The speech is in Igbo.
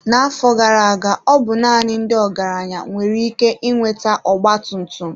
N'afọ gara aga, ọ bụ naanị ndị ọgaranya nwere ike ị nweta ọgba tum tum.